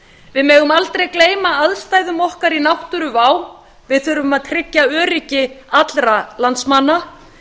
við megum aldrei gleyma aðstæðum okkar í náttúruvá við þurfum að tryggja öryggi allra landsmanna